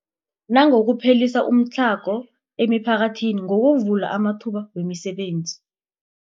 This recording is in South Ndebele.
Nangokuphelisa umtlhago emiphakathini ngokuvula amathuba wemisebenzi.